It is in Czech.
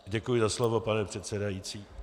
Děkuji za slovo, pane předsedající.